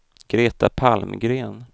Greta Palmgren